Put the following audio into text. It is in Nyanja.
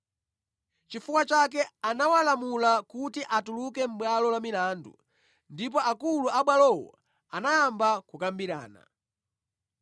Chifukwa chake anawalamula kuti atuluke mʼbwalo la milandu ndipo akulu abwalowo anayamba kukambirana.